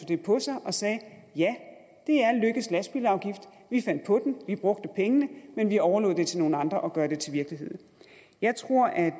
det på sig og sagde ja det er løkkes lastbilafgift vi fandt på den vi brugte pengene men vi overlod det til nogle andre at gøre det til virkelighed jeg tror at